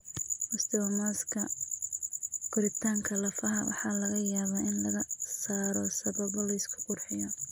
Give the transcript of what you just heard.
Osteomaska (koritaanka lafaha) waxaa laga yaabaa in laga saaro sababo la isku qurxiyo.